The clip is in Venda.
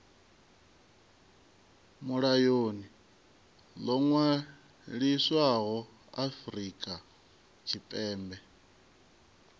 mulayoni ḽo ṅwaliswaho afrika tshipembe